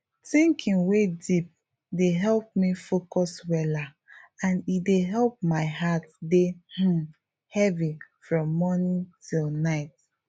thinking wey deep dey help me focus weller and e dey help my heart dey um heavy from morning till night